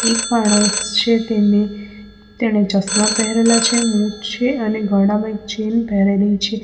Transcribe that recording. એક માણસ છે તેને તેને ચશ્મા પહેરેલા છે મૂંછ છે અને ગળામાં એક ચેન પહેરેલી છે.